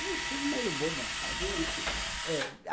Um estudo meio bobo ela fazia, enfim. É